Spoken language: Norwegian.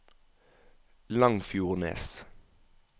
Langfjordnes